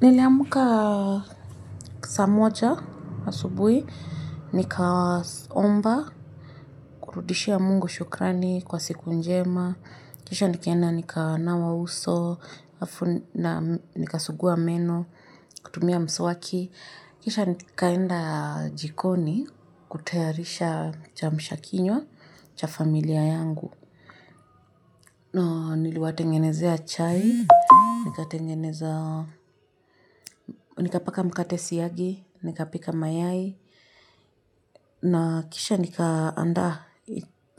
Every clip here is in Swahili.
Niliamuka saa moja asubuhi, nikaomba, kurudishia Mungu shukrani kwa siku njema, kisha nikenda nikaanawa uso, nikaasugua meno, kutumia mswaki, kisha nikaenda jikoni kutayarisha kiamsha kinywa cha familia yangu. Na niliwatengenezea chai, nikapaka mkate syagi, nikapika mayai, na kisha nikaanda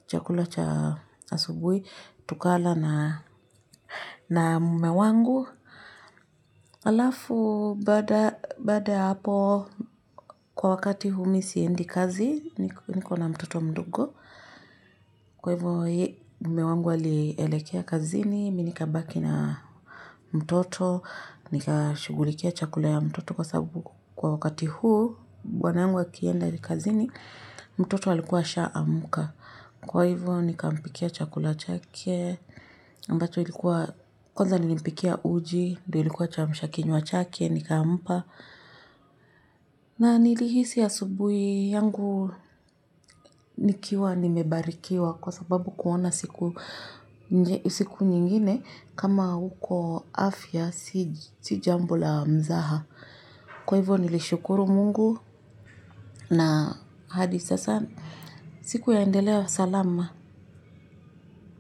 chakula cha asubui, tukala na mume wangu. Alafu bada hapo kwa wakati huu mi siendi kazi niko na mtoto mdogo. Kwa hivyo yeye mume wangu alielekea kazini. Mi nikabaki na mtoto. Nikashugulikia chakula ya mtoto kwa sababu kwa wakati huu bwana yangu akienda kazini mtoto alikuwa ashaamuka. Kwa hivyo nikampikia chakula chake, ambacho ilikuwa kwanza nilimpikia uji, ndio ilikuwa chamshakinywa chake, nikampa. Na nilihisi asubuhi yangu nikiwa nimebarikiwa kwa sababu kuona siku nyingine kama huko afya si jambo la mzaha. Kwa hivyo nilishukuru mungu na hadi sasa siku yaendelea salama.